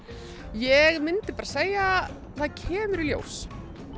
ég myndi segja það kemur í ljós